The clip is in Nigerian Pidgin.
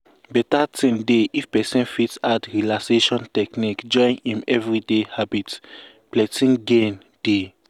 better thing dey if person fit add relaxation technique join im everyday habit plenty gain dey.